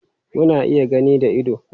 Muna iya gani da ido.